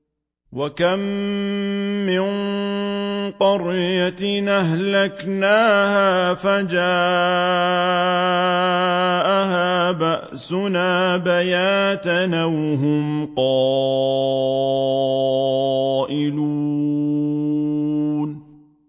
وَكَم مِّن قَرْيَةٍ أَهْلَكْنَاهَا فَجَاءَهَا بَأْسُنَا بَيَاتًا أَوْ هُمْ قَائِلُونَ